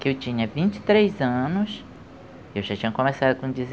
que eu tinha vinte e três anos, eu já tinha começado com